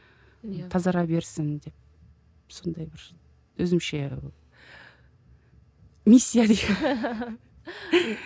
иә тазара берсін деп сондай бір өзімше миссия